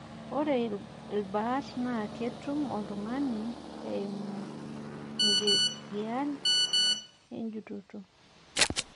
ore ilbaat naa ketum ltungani eimu engigian, ejutoto.